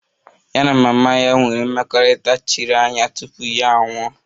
Ya na mama ya nwere mmekọrịta chiri anya tupu ya anwụọ